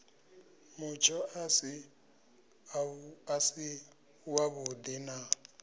mutsho a si avhudi na